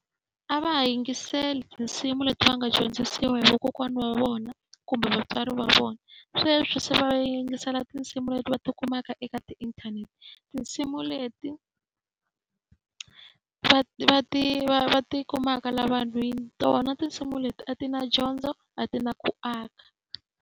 A va ha yingiseli tinsimu leti va nga dyondzisiwa hi vakokwana wa vona kumbe vatswari va vona, sweswi se va yingisela tinsimu leti va tikumaka eka ti-inthanete. Tinsimu leti va va ti va va ti kumaka laha vanhwini, tona tinsimu leti a ti na dyondzo a ti na ku aka.